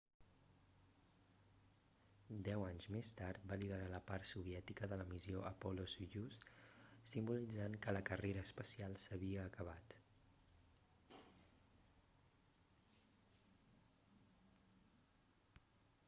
deu anys més tard va liderar la part soviètica de la missió apollo-soyuz simbolitzant que la carrera espacial s'havia acabat